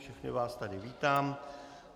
Všechny vás tady vítám.